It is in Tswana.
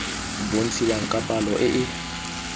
bontshiwang ka palo e e